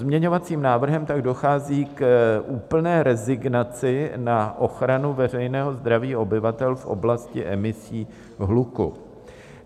Pozměňovacím návrhem tak dochází k úplné rezignaci na ochranu veřejného zdraví obyvatel v oblasti emisí hluku.